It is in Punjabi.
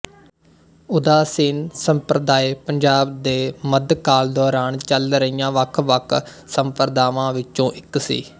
ਉਦਾਸੀਨ ਸੰਪ੍ਰਦਾਇ ਪੰਜਾਬ ਦੇ ਮੱਧਕਾਲ ਦੌਰਾਨ ਚੱਲ ਰਹੀਆਂ ਵੱਖਵੱਖ ਸੰਪਰਦਾਵਾਂ ਵਿੱਚੋਂ ਇੱਕ ਸੀ